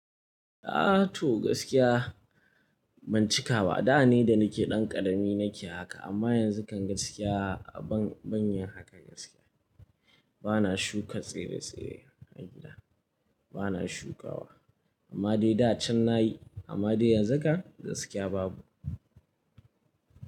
A to gaskiya ban cika ba, da ne da nike ɗan ƙarami nike haka amma yanzu kan gaskiya ban, ban yin haka gaskiya. Bana shuka tsire-tsire a gida, bana shukawa. Amma dai da can nayi amma dai yanzu kan gaskiya babu.